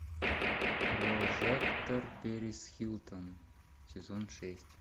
прожекторперисхилтон сезон шесть